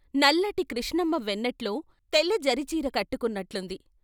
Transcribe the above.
నల్లటి కృష్ణమ్మ వెన్నెట్లో తెల్లజరీ చీర కట్టుకున్నట్లుంది.